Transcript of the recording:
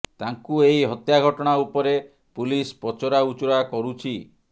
ତାଙ୍କୁ ଏହି ହତ୍ୟା ଘଟଣା ଉପରେ ପୁଲିସ ପଚରା ଉଚରା କରୁଛି